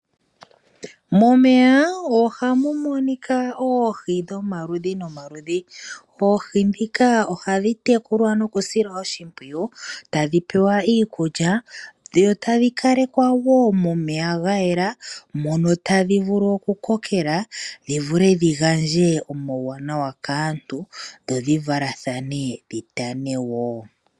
Momeya ohamu monika oohi dhomaludhi nomaludhi. Oohi dhika ohadhi tekulwa noku silwa oshipwiyu tadhi pewa iikukya dho tadhi kalekwa wo momeya ga yela mono tadhi vulu oku kokela dhi vule dhi gandje omauwanawa kaantu dho dhi valathane dhitane wo.